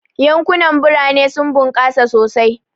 Yankunan birane sun bunkasa sosai,.